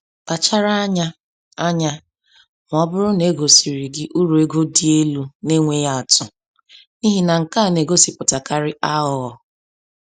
Kpachara anya anya ma ọ bụrụ na e gosiri gị uru ego dị elu na-enweghị atụ, n’ihi na nke a na-egosipụtakarị aghụghọ.